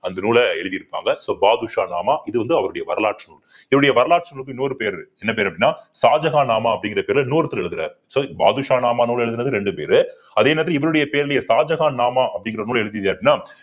அந்த நூலை எழுதி இருப்பாங்க so பாதுஷா நாமா இது வந்து அவருடைய வரலாற்று நூல் இவருடைய வரலாற்று நூலுக்கு இன்னொரு பேரு இருக்கு என்ன பேரு அப்படின்னா ஷாஜகான் நாமா அப்படிங்கிற பேரிலே இன்னொருத்தர் எழுதுறாரு so பாதுஷா நாமா நூல் எழுதினது ரெண்டு பேரு அதே நேரத்திலே இவருடைய பேரிலேயே ஷாஜகான் நாமா அப்படிங்கிற நூல்